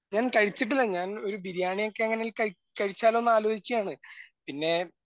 ഞാൻ കഴിച്ചിട്ടില്ല ഞാൻ ഒരു ബിരിയാണി ഒക്കെ അങ്ങനെ കഴി കഴിച്ചാലോ എന്ന് ആലോചിക്കുകയാണ് പിന്നെ